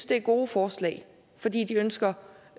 det er gode forslag for de ønsker